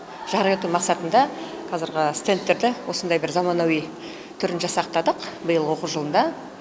жарық ету мақсатында қазіргі стендтерді осындай бір заманауи түрін жасақтадық биылғы оқу жылында